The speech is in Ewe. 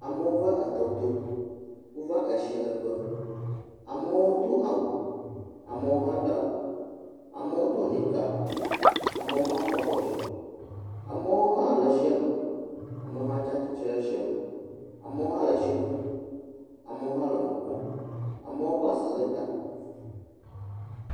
Amewo va etɔ to. Wova etsi le ƒe. Amewo do awu, ame hã ɖe awu, amewo do nika, amewo hã kɔ abɔ dzi, amewo hã le etsia me, amewo hã tsi atsitre ɖe tsia, amewo ha letsi ƒum, amewo hã le nu kpɔm, amewo kɔ asi le ta.